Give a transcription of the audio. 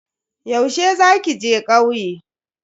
Yaushe za ki je kauye?